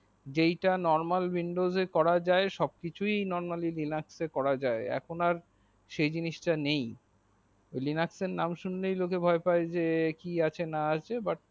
যেইটা normal windows এ করা যাই কিছুই normally লিনাক্স এ করা যাই এখন আর সেই জিনিস তা নেই লিনাক্স এর নাম শুনলেই লোকে ভয় পাই যে কি আছে না আছে but